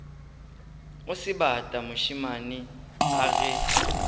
o sebata mošemane a ge